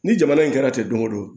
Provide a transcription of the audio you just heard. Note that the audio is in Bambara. Ni jamana in kɛra ten don o don